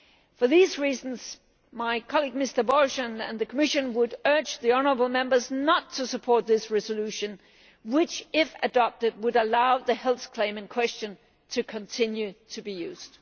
For these reasons my colleague Mr Borg and the Commission would urge the honourable Members not to support this resolution which, if adopted, would allow the health claim in question to continue to be used.